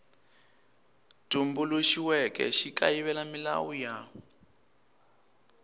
tumbuluxiweke xi kayivela milawu ya